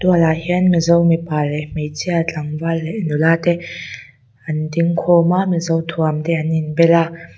mual ah hian mizo mipa leh hmeichhia tlangval leh nula te an ding khawm a mizo thuam te an inbel a.